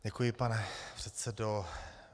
Děkuji, pane předsedo.